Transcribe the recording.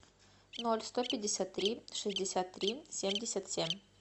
ноль сто пятьдесят три шестьдесят три семьдесят семь